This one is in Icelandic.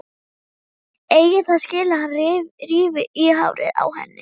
Eigi það skilið að hann rífi í hárið á henni.